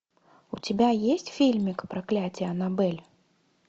у тебя есть фильмик проклятие аннабель